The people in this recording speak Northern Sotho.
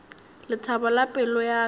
lethabo la pelo ya ka